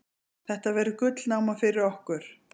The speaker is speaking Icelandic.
Þetta verður gullnáma fyrir okkur.